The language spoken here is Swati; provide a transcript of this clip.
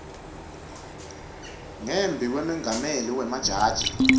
ngembi kwemengameli wemajaji